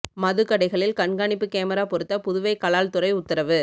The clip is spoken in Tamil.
மதுக் கடைகளில் கண்காணிப்பு கேமரா பொருத்த புதுவை கலால் துறை உத்தரவு